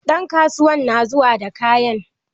Ɗan kasuwan na zuwa da kayan.